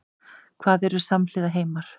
Hvað eru samhliða heimar?